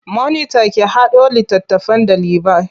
Monita ki haɗo littattafan ɗalibai.